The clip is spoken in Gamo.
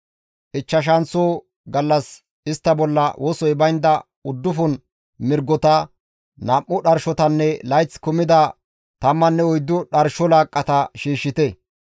« ‹Ichchashanththo gallas istta bolla wosoy baynda uddufun mirgota, nam7u dharshotanne layththi kumida tammanne oyddu dharsho laaqqata shiishshite.